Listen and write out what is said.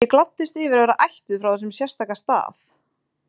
Ég gladdist yfir að vera ættuð frá þessum sérstaka stað.